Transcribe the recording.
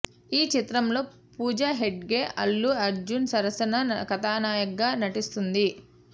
ఈ చిత్రంలో పూజ హెగ్డే అల్లు అర్జున్ సరసన కథానాయికగా నటిస్తుంది